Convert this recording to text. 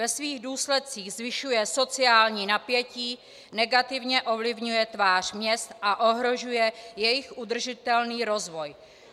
Ve svých důsledcích zvyšuje sociální napětí, negativně ovlivňuje tvář měst a ohrožuje jejich udržitelný rozvoj.